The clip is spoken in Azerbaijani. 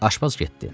Aşpaz getdi.